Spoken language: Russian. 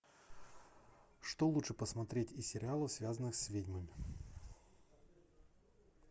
что лучше посмотреть из сериалов связанных с ведьмами